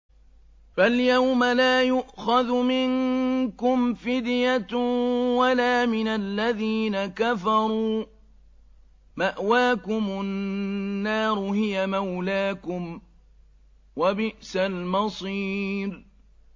فَالْيَوْمَ لَا يُؤْخَذُ مِنكُمْ فِدْيَةٌ وَلَا مِنَ الَّذِينَ كَفَرُوا ۚ مَأْوَاكُمُ النَّارُ ۖ هِيَ مَوْلَاكُمْ ۖ وَبِئْسَ الْمَصِيرُ